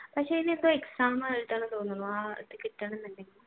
പക്ഷെ ഇന്നിപ്പോ exam ആയിട്ടേ തോന്നുള്ളു